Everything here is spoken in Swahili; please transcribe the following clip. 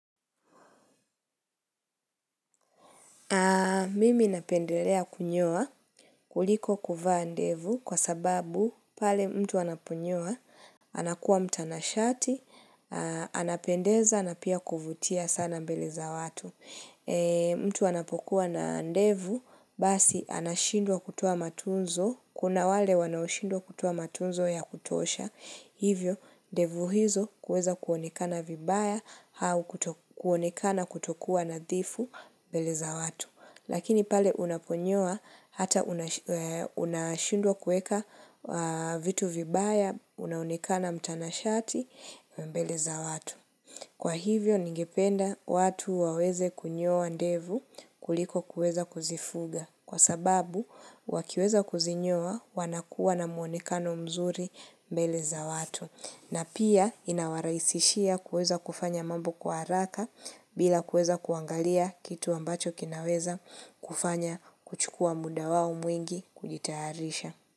Mimi napendelea kunyoa kuliko kuvaa ndevu kwa sababu pale mtu anapunyua, anakuwa mtanashati, anapendeza na pia kuvutia sana mbele za watu. Mtu anapokuwa na ndevu, basi anashindwa kutoa matunzo, kuna wale wanaoshindwa kutoa matunzo ya kutosha, hivyo ndevu hizo huweza kuonekana vibaya au kuonekana kutokuwa nadhifu mbele za watu. Lakini pale unaponyoa hata unashindwa kuweka vitu vibaya, unaonekana mtanashati mbele za watu. Kwa hivyo, ningependa watu waweze kunyoa ndevu kuliko kuweza kuzifuga. Kwa sababu, wakiweza kuzinyoa wanakuwa na muonekano mzuri mbele za watu. Na pia inawarahisishia kuweza kufanya mambo kwa haraka bila kuweza kuangalia kitu ambacho kinaweza kufanya kuchukua muda wao mwingi kujitayarisha.